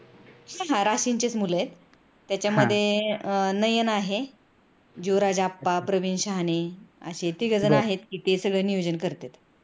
हा राशिंचेच मुल आहेत त्याच्यामध्ये नयन आहे युवराजआप्पा, प्रवीण शहाणे असे तिघजण आहेत कि ते सगळ नियोजन करतेत.